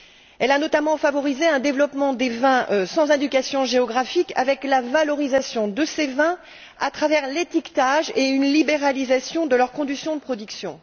Elle a notamment favorisé un développement des vins sans indications géographiques avec la valorisation de ces vins à travers l'étiquetage et une libéralisation de leurs conditions de production.